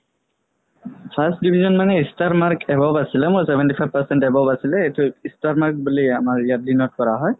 first division মানে star mark above আছিলে মোৰ seventy five percent above আছিলে star mark বুলি আমাৰ ইয়াত denote কৰা হয়